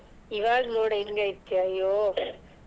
ಈವಾಗ ನೋಡು ಹೆಂಗೈತೆ ಅಯ್ಯೋ.